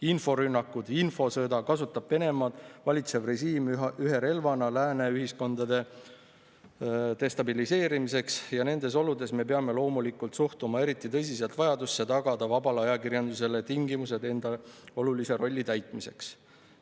Inforünnakuid, infosõda kasutab Venemaad valitsev režiim ühe relvana lääne ühiskondade destabiliseerimiseks ja nendes oludes me peame loomulikult suhtuma eriti tõsiselt vajadusse tagada vabale ajakirjandusele tingimused enda olulise rolli täitmiseks.